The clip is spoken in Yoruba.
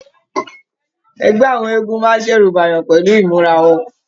Ẹgbẹ àwọn eégún máa n ṣẹ̀rù bèèyàn pẹlú imura wọn.